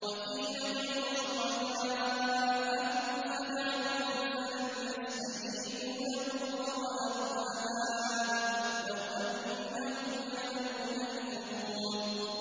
وَقِيلَ ادْعُوا شُرَكَاءَكُمْ فَدَعَوْهُمْ فَلَمْ يَسْتَجِيبُوا لَهُمْ وَرَأَوُا الْعَذَابَ ۚ لَوْ أَنَّهُمْ كَانُوا يَهْتَدُونَ